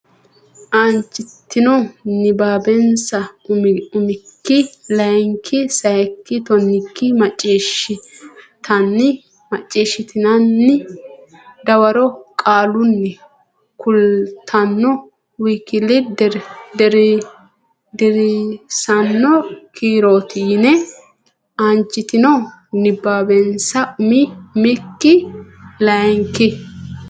Aanchiteno nabbabbanansa Umi umikki layinki sayikki tonnikki macciishshitanni dawaro qaalunni kultanno w k l deerrisaano kiirooti yinanni Aanchiteno nabbabbanansa Umi umikki layinki.